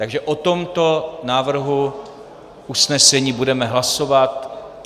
Takže o tomto návrhu usnesení budeme hlasovat.